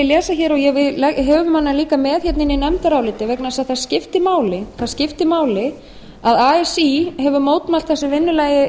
lesa hér og við höfum hana líka með hérna inni í nefndaráliti vegna þess að það skiptir máli að así hefur mótmælt þessu vinnulagi